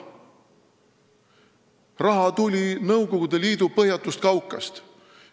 Raha tuli Nõukogude Liidu põhjatust kaukast.